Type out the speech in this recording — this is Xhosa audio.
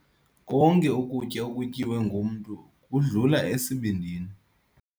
Konke ukutya okutyiwe ngumntu kudlula esibindini.